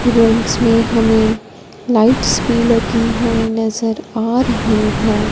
Rooms में हमें lights भी लगी हुई नजर आ रही है।